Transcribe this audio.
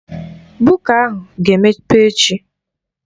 Buka ahụ ga-emepe echi